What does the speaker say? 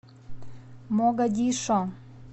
могадишо